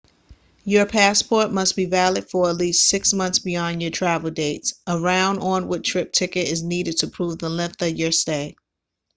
your passport must be valid for at least 6 months beyond your travel dates. a round/onward trip ticket is needed to prove the length of your stay